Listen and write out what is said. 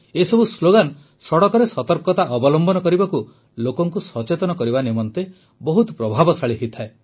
ଏସବୁ ସ୍ଲୋଗାନ ସଡ଼କରେ ସତର୍କତା ଅବଲମ୍ବନ କରିବାକୁ ଲୋକଙ୍କୁ ସଚେତନ କରିବା ନିମନ୍ତେ ବହୁତ ପ୍ରଭାବଶାଳୀ ହୋଇଥାଏ